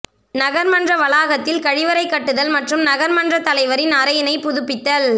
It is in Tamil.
நகர்மன்ற வளாகத்தில் கழிவறை கட்டுதல் மற்றும் நகர்மன்றத் தலைவரின் அறையினை புதுப்பித்தல்